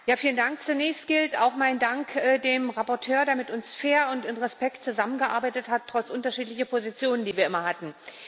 Frau Präsidentin! Zunächst gilt auch mein Dank dem Berichterstatter, der mit uns fair und in Respekt zusammengearbeitet hat, trotz unterschiedlicher Positionen, die wir immer hatten.